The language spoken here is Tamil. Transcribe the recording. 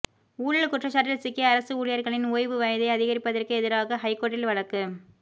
ஊழல் குற்றச்சாட்டில் சிக்கிய அரசு ஊழியர்களின் ஓய்வு வயதை அதிகரிப்பதற்கு எதிராக ஹைகோர்ட்டில் வழக்கு